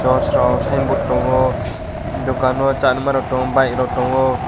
tos rok signboard tongo dukan bo charma rok tongo bike rok tongo.